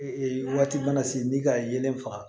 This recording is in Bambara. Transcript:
Ee waati mana se ni ka yelen faga